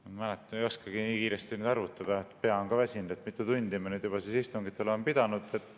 Ma ei mäleta, ei oskagi nii kiiresti arvutada, pea on ka väsinud, mitu tundi me nüüd juba istungit oleme pidanud.